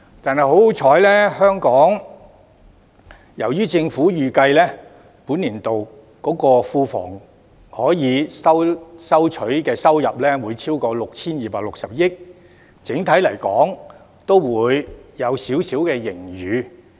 幸好，政府預計本年度庫房可以收取的收入會超過 6,260 億元，整體而言會有少許盈餘。